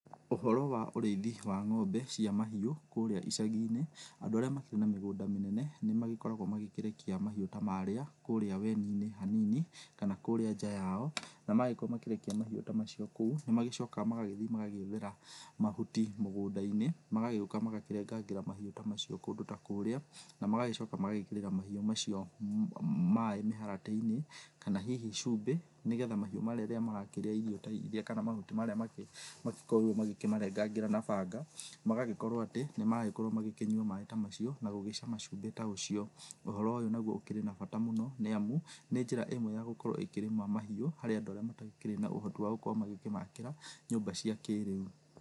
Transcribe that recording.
Ũhoro wa ũrĩithi wa ng'ombe cia mahiũ kũrĩa icagiinĩ andũ arĩa makĩrĩ na mĩgũnda mĩnene nĩ magĩkoragwo magĩkĩrekia mahiũ ta marĩa kũrĩa werũinĩ hanini kana kũrĩa nja yao na magĩkorwo magĩkĩrekia mahiũ ta macio kũu nĩ magĩcokaga magagĩthi magagĩethera mahũti mũgũndainĩ magagĩũka magĩkĩrengangira mahiũ ta macio kũndũ ta kũrĩa na magagĩcoka magĩkĩrĩra mahiũ macio maĩ mĩharatĩ inĩ kana hihi cũmbĩ nĩgetha mahiũ magagĩkĩrĩa irio ta iria kana mahũti marĩa agĩkorirwo magĩkĩmarengagĩra na banga magagĩkorwo atĩ nĩ maragĩkorwo magĩkĩnyũa maĩ ta macio na gũgĩcama cũmbĩ ta ũcio ũhoro ũyũ nagũo ũkĩrĩ na bata mũno nĩ amũ nĩ njĩra ĩmwe ya gũgĩkorwo ũgĩkĩrĩma mahiũ harĩa andũ arĩa matakĩrĩ na ũhotĩ wa gũkorwo magĩkĩmakĩra nyũmba cia kĩrĩũ.